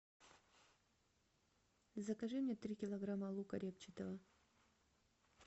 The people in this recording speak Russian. закажи мне три килограмма лука репчатого